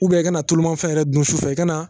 i kana tulumafɛn yɛrɛ dun sufɛ i kana